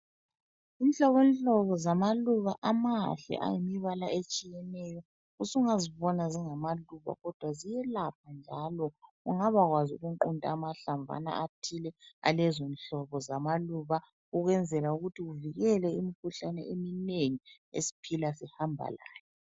Inhlobonhlobo zamaluba amahle ayimibala etshiyeneyo. Usungazibona zingamaluba kodwa ziyelapha njalo ungabakwazi ukuqunta amahlamvana athile alezinhlobo zamaluba ukwenzela ukuthi uvikele imikhuhlane eminengi esiphila sihamba layo.